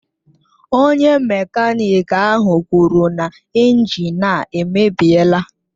Onye mekaniki ahụ kwuru na injin a emebiela